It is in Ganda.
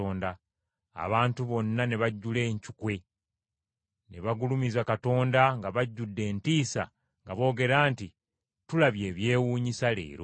Abantu bonna ne bajjula encukwe. Ne bagulumiza Katonda nga bajjudde entiisa nga boogera nti, “Tulabye ebyewuunyisa leero.”